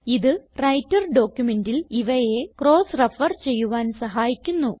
ഇത് വ്രൈട്ടർ ഡോക്യുമെന്റിൽ ഇവയെ ക്രോസ് റെഫർ ചെയ്യുവാൻ സഹായിക്കുന്നു